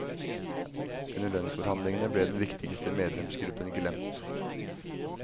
Under lønnsforhandlingene ble den viktigste medlemsgruppen glemt.